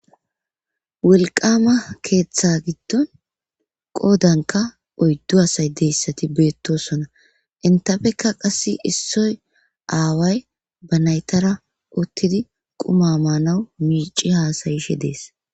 wolqama keeththa giddon qoodanka oyddu hasay deyssati beettosona intafekka qasse issoy aaway ba naytara uttidi quma maanawu miici haasayishe dees